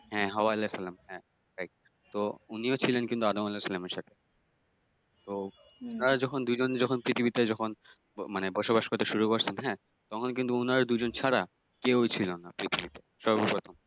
হ্যাঁ হাওয়া আলাহিসাল্লাম, হ্যাঁ right তো উনিও ছিলেন কিন্তু আদম আলাহিসাল্লাম এর সাথে তো উনারা যখন দুইজন যখন পৃথিবীতে যখন মানে বসবাস করতে শুরু করছেন হ্যাঁ তখন কিন্তু উনারা দুইজন ছাড়া কেউই ছিলনা পৃথিবীতে সর্বপ্রথম।